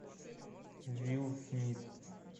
уилл смит